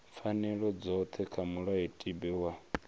pfanelo dzothe kha mulayotibe wa